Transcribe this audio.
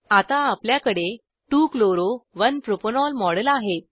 आता आपल्याकडे 2 chloro 1 propanol model आहेत